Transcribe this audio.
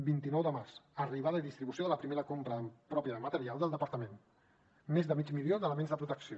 vint nou de març arribada i distribució de la primera compra pròpia de material del departament més de mig milió d’elements de protecció